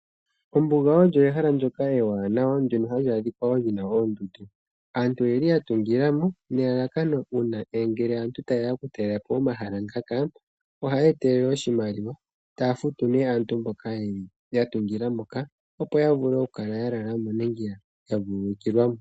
Ombuga olyo ehala ndyoka ewanawa ndyono hali adhika wo lina oondundu. Aantu oyeli yatungilamo nelalakano uuna ngele aantu tayeya okutalelapo omhala ngaka ohaya etelele iimaliwa taafutu nee aantu mboka yatungilapo moka opo yamvule oku lalamo nenge ya vululukilamo.